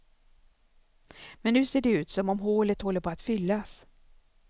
Men nu ser det ut som om hålet håller på att fyllas.